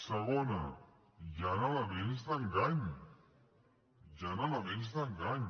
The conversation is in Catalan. segona hi ha elements d’engany hi ha elements d’engany